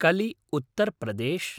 कलि - उत्तर् प्रदेश्